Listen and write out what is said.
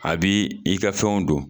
A bi i ka fɛnw don